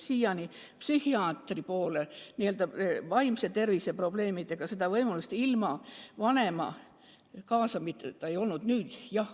Siiani psühhiaatri poole vaimse tervise probleemide puhul ilma vanemat kaasamata pöörduda ei saa.